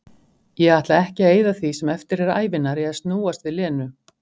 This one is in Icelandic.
Ég ætla ekki að eyða því sem eftir er ævinnar í að snúast við Lenu-